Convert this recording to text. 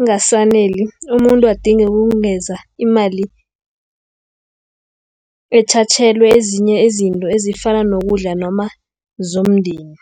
ingasaneli umuntu adinge ukungenza imali ethathelwe ezinye izinto ezifana nokudla noma zomndeni.